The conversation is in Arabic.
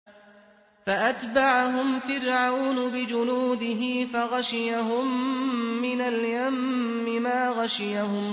فَأَتْبَعَهُمْ فِرْعَوْنُ بِجُنُودِهِ فَغَشِيَهُم مِّنَ الْيَمِّ مَا غَشِيَهُمْ